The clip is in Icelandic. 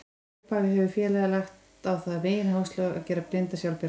Frá upphafi hefur félagið lagt á það megináherslu að gera blinda sjálfbjarga.